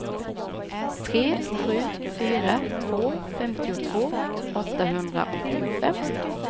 tre sju fyra två femtiotvå åttahundraåttiofem